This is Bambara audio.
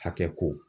Hakɛ ko